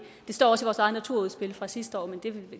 det står også i vores eget naturudspil fra sidste år